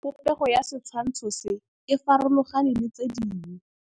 Popêgo ya setshwantshô se, e farologane le tse dingwe.